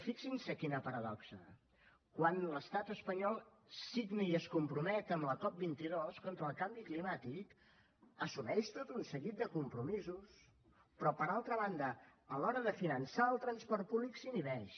fixin s’hi quina paradoxa quan l’estat espanyol signa i es compromet amb la cop22 contra el canvi climàtic assumeix tot un seguit de compromisos però per altra banda a l’hora de finançar el transport públic s’inhibeix